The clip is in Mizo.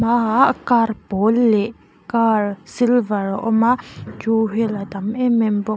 hmaah car pawl leh car silver a awm a two wheeler tam em em bawk.